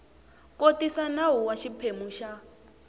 kotisa nawu wa xiphemu xa